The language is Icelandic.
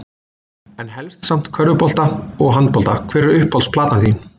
En helst samt körfubolta og handbolta Hver er uppáhalds platan þín?